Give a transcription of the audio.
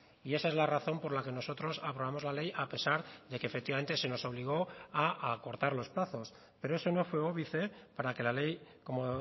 y esa es la razón por la que nosotros aprobamos la ley a pesar de que efectivamente se nos obligó a acortar los plazos pero eso no fue óbice para que la ley como